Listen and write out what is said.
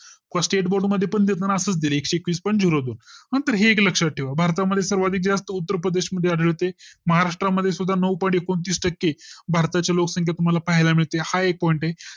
State board मध्ये पण देताना पण असाच दिलं एकशे एकवीस पॉईंट zero दोन. नंतर हे एक लक्षात ठेवा भारता मध्ये सर्वात जास्त उत्तर प्रदेश मध्ये आढळते महाराष्ट्र मध्ये सुद्धा नऊ पॉईंट एकोणतीस टक्के भारताच्या लोकसंख्ये तुम्हाला पाहायला मिळते हा एक Point आहे